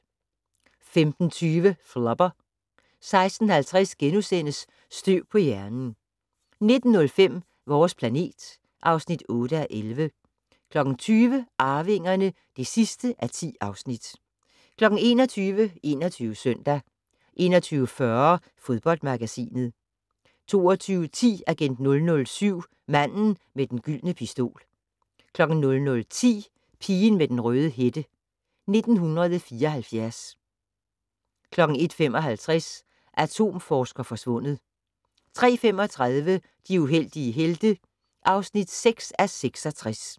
15:20: Flubber 16:50: Støv på hjernen * 19:05: Vores planet (8:11) 20:00: Arvingerne (10:10) 21:00: 21 Søndag 21:40: Fodboldmagasinet 22:10: Agent 007 - Manden med den gyldne pistol 00:10: Pigen med den røde hætte: 1974 01:55: Atomforsker forsvundet 03:35: De heldige helte (6:66)